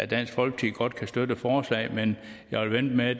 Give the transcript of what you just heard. dansk folkeparti godt kan støtte forslaget men jeg vil vente med